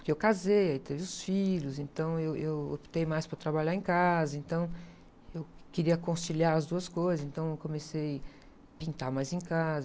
Porque eu casei, aí teve os filhos, então eu, eu optei mais para trabalhar em casa, então eu queria conciliar as duas coisas, então eu comecei pintar mais em casa.